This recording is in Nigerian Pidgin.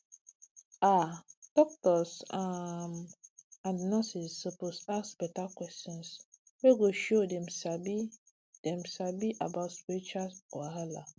ah doctors um and nurses suppose to ask beta questions wey go show dem sabi dem sabi about spiritual wahala